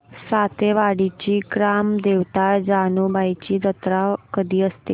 सातेवाडीची ग्राम देवता जानुबाईची जत्रा कधी असते